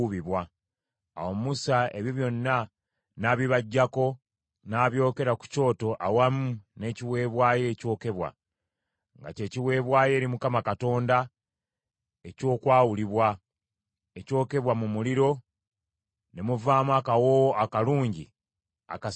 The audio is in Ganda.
Awo Musa ebyo byonna n’abibaggyako, n’abyokera ku kyoto awamu n’ekiweebwayo ekyokebwa, nga kye kiweebwayo eri Mukama Katonda eky’okwawulibwa, ekyokebwa mu muliro ne muvaamu akawoowo akalungi akasanyusa.